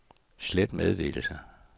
slet meddelelse